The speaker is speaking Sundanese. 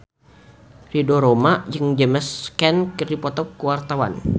Ridho Roma jeung James Caan keur dipoto ku wartawan